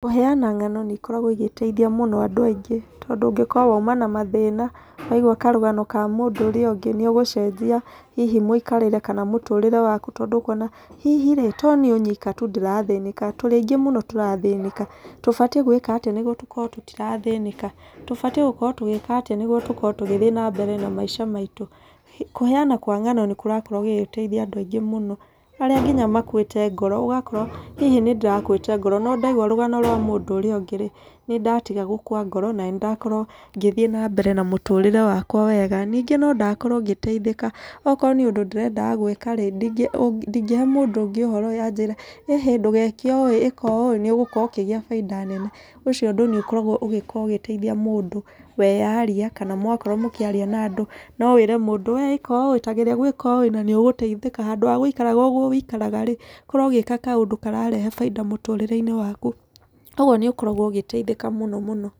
Kũheana ng'ano nĩ ikoragwo igĩteithia mũno andũ aingĩ. Tondũ ũngĩkorwo wauma na mathĩna, waigua karũgano ka mũndũ ũrĩa ũngĩ, nĩ ũgũcenjia hihi mũikarĩre, kana mũtũrĩre waku. Tondũ nĩ ũkuona hihi ĩĩ to niĩ nyika tu ndĩrathĩnĩka tũrĩ aingĩ mũno tũrathĩnĩka. Tũbatiĩ gwĩka atĩa nĩguo tũkorwo tũtirathĩnĩka? Tũbatiĩ gũkorwo tũgĩka atĩa nĩguo tũkorwo tũgĩthi na mbere na maica maitũ. Kũheana kwa ng'ano nĩ kũrakorwo gũgĩteithia andũ aingĩ mũno. Arĩa nginya makuĩte ngoro ũgakora hihi nĩ ndĩrakuĩte ngoro, no ndaigua rũgano rwa mũndũ ũrĩa ũngĩ rĩ, nĩ ndatiga gũkua ngoro, na nĩ ndakorwo ngĩthiĩ na mbere na mũtũrĩre wakwa wega. Ningĩ no ndakorwo ngĩteithĩka. Okorwo nĩ ũndũ ndĩrendaga gwĩka rĩ, ndingĩhe mũndũ ũngĩ ũhora anjĩre ĩhĩ ndũgeke ũũ ĩka ũũ nĩ ũgũkorwo ũkĩgĩa baida nene. Ũcio ũndũ nĩ ũkoragwo ũgĩkorwo ũgĩteithia mũndũ weyaria, kana mwakorwo mũkĩaria na andũ. No wĩre mũndũ we ĩka ũũ ĩĩ ta geria gwĩka ũũ ĩĩ na nĩũgũteithĩka handũ. Handũ ha gũikara ũguo wĩikaraga, korwo ũgĩka kaũndũ kararehe baida mũtũrĩre-inĩ waku. Koguo nĩ ũkoragwo ũgĩteithĩka mũno mũno.